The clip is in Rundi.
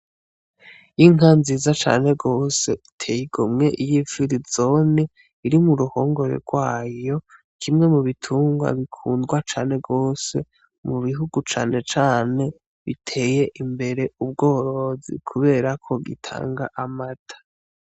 Inka nziza cane gose iteye igomwe y'ifirizone iri mu ruhongore rwayo kimwe mu bitungwa bikundwa cane gose mu bihugu cane cane biteye imbere mu bworozi kuberako gitanga amata.